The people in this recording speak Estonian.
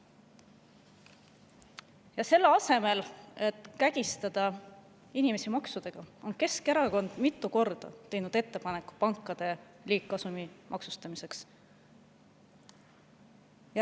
" Keskerakond on mitu korda teinud ettepaneku, et selle asemel, et kägistada inimesi maksudega, tuleks maksustada pankade liigkasum.